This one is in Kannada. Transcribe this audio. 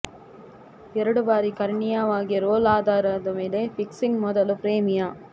ಎರಡು ಬಾರಿ ಕರ್ಣೀಯವಾಗಿ ರೋಲ್ ಆಧಾರದ ಮೇಲೆ ಫಿಕ್ಸಿಂಗ್ ಮೊದಲು ಪ್ರೇಮಿಯ